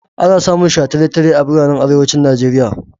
Ana samun shataletale a biranen arewacin Nijeriya.